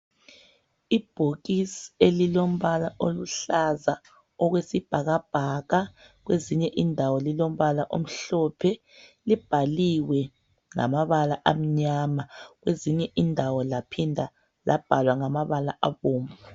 Ibhokisi elilombala oluhlaza okwesibhakabhaka kwezinye indawo lilombala omhlophe libhaliwe ngamabala amnyama kwezinye indawo laphinda labhalwa ngamabala abomvu